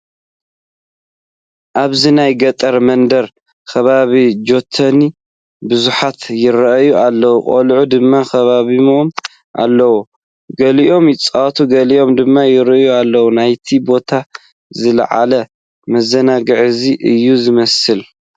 ኣብዚ ናይ ገጠር መንደር ከባቢ ጆቶኒ ብብዝሒ ይርአያ ኣለዋ፡፡ ቆልዑ ድማ ከቢቦምወን ኣለዉ፡፡ ገሊኦም ይፃወቱ ገሊኦም ድማ ይርእዩ ኣለዉ፡፡ ናይቲ ቦታ ዝለዓለ መዘናግዒ እዚ እዩ ዝመስል፡፡